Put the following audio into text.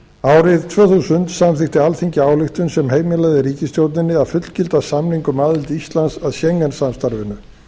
árið tvö þúsund samþykkti alþingi ályktun sem heimilaði ríkisstjórninni að fullgilda samning um aðild íslands að schengen samstarfinu